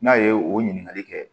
N'a ye o ɲininkali kɛ